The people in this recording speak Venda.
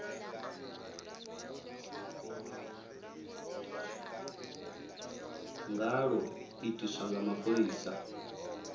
nga lwo itiswa nga mapholisa